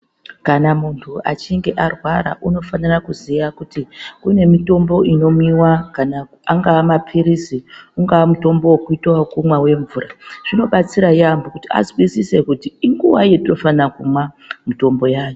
Kana muntu achinge arwara unofana kuziya kuti kune mutombo unomwiwa kana angava mapirizi ungava mutombo wekuita wekumwa wemvura zvinobatsira yambo kuti azwisise kuti inguwai yatinofana kumwa mutombo uyani.